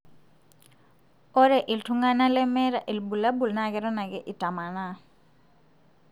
ore iltunganaa lemetaa ilbulabul na keton ake itamanaa.